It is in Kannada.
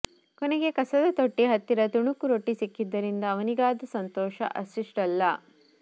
ಕೊನೆಗೆ ಕಸದ ತೊಟ್ಟಿ ಹತ್ತಿರ ತುಣುಕು ರೊಟ್ಟಿ ಸಿಕ್ಕಿದ್ದರಿಂದ ಅವನಿಗಾದ ಸಂತೋಷ ಅಷ್ಟಿಷ್ಟಲ್ಲ